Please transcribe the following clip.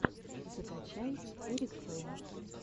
закачай эрик фейм